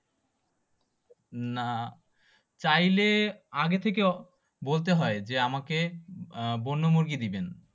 না চাইলে আগে থেকে বলতে হয় যে আমাকে বন্যমুরগি দিবেন